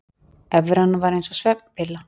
Evran var eins og svefnpilla